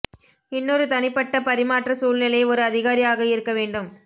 இன்னொரு தனிப்பட்ட பரிமாற்ற சூழ்நிலை ஒரு அதிகாரி ஆக இருக்க வேண்டும்